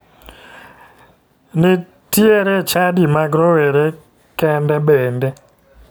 Nitiero chadi mag rowere kende bende.